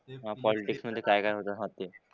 हां पॉलिटिक्स मधे काय काय होतं हां ते.